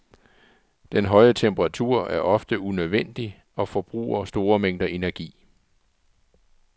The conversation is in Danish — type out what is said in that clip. Den høje temperatur er ofte unødvendig og forbruger store mængder energi.